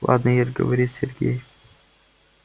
ладно ир говорит сергей